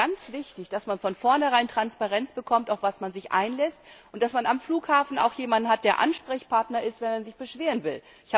Das halte ich für ganz wichtig, dass man von vorne herein Transparenz bekommt, worauf man sich einlässt und dass man am Flughafen auch jemand hat, der Ansprechpartner ist, wenn man sich beschweren will.